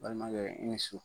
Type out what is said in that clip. Balimankɛ, i ni su!